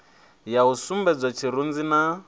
ya u sumbedzwa tshirunzi na